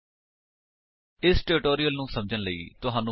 ਜੇਕਰ ਨਹੀਂ ਤਾਂ ਸਬੰਧਤ ਟਿਊਟੋਰਿਅਲ ਲਈ ਸਾਡੀ ਇਸ ਵੇਬਸਾਈਟ ਉੱਤੇ ਜਾਓ